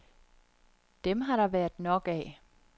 Dem har der været nok af.